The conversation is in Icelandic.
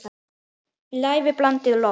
Lævi blandið loft.